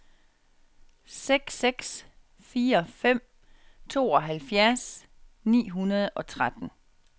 seks seks fire fem tooghalvfjerds ni hundrede og tretten